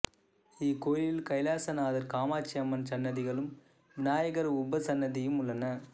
இக்கோயிலில் கைலாசநாதர் காமாட்சி அம்மன் சன்னதிகளும் விநாயகர் உபசன்னதியும் உள்ளன